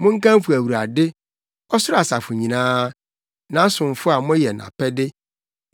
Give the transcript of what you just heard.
Monkamfo Awurade, ɔsoro asafo nyinaa, nʼasomfo a moyɛ nʼapɛde.